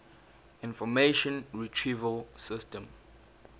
information retrieval system